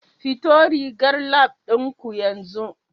Fito rigar Lab ɗin ku yanzu